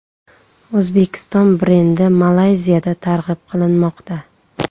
O‘zbekiston brendi Malayziyada targ‘ib qilinmoqda .